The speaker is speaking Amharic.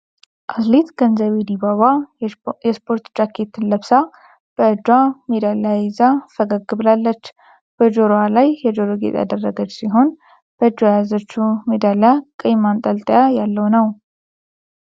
አትሌት ገንዘቤ ዲባባ የስፖርት ጃኬትን ለብሳ በእጇ ሜዳሊያ ይዛ ፈገግ ብላለች። በጆሮዋ ላይ የጆሮ ጌጥ ያደረገች ሲሆን በእጇ የያዘችው ሜዳሊያ ቀይ ማንጠልጠያ ያለው ነው።